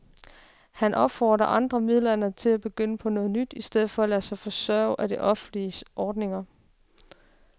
Han opfordrer andre midaldrende til at begynde på noget nyt i stedet for at lade sig forsørge af offentlige ordninger.